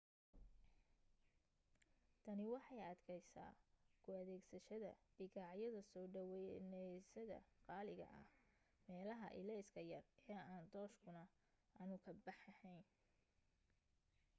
tani waxay adkaysaa ku adeegsashada bikaacyada soo dhaweeyayaasha qaaliga ah meelaha ilayska yar ee aan tooshkuna aanu ka baxayn